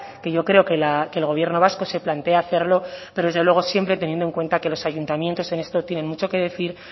que yo creo que el gobierno vasco se plantea hacerlo pero desde luego siempre teniendo en cuanta que los ayuntamientos en esto tienen mucho que decir